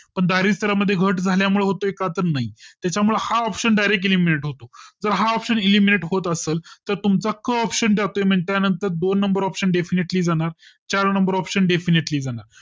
पण दारिद्या मध्ये घट झाल्या मुले होतोय का तर नाही त्याच्या हा option Direct Elimainted होतो व हा option elimited होत असलं तर तुमचा क option जातोय त्यानंतर दोन Number OPTION Definetily जाणार चार Number option Defintily जाणार